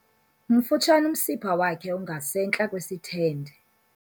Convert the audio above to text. Mfutshane umsipha wakhe ongasentla kwesithende.